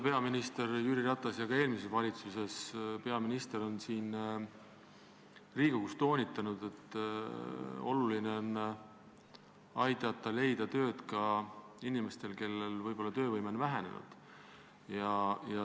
Praegune ja ka eelmise valitsuse peaminister Jüri Ratas on siin Riigikogus toonitanud, et oluline on aidata leida tööd ka inimestel, kelle töövõime on vähenenud.